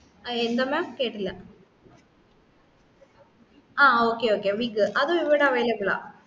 ആ എന്തെന്ന കേട്ടില്ല ആ okay okay wig അതും ഇവിടെ available ആ